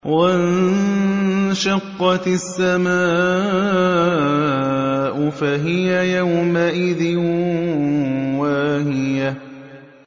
وَانشَقَّتِ السَّمَاءُ فَهِيَ يَوْمَئِذٍ وَاهِيَةٌ